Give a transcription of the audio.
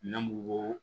Ne mugu